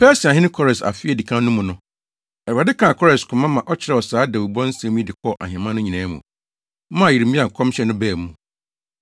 Persiahene Kores afe a edi kan no mu no, Awurade kaa Kores koma ma ɔkyerɛw saa dawubɔ nsɛm yi de kɔɔ ahemman no nyinaa mu, maa Yeremia nkɔmhyɛ no baa mu.